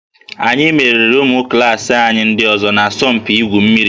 Anyị meriri ụmụ klaasị anyị ndị ọzọ n'asọmpi igwu mmiri